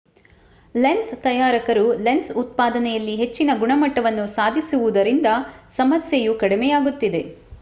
lens ತಯಾರಕರು lens ಉತ್ಪಾದನೆಯಲ್ಲಿ ಹೆಚ್ಚಿನ ಗುಣಮಟ್ಟವನ್ನು ಸಾಧಿಸಿರುವುದರಿಂದ ಸಮಸ್ಯೆಯು ಕಡಿಮೆಯಾಗುತ್ತಿದೆ